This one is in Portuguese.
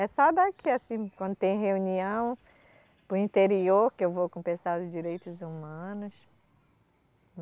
É só daqui, assim, quando tem reunião, para o interior, que eu vou com o pessoal dos direitos humanos.